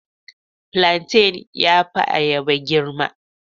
Flantain ya fi ayaba girma.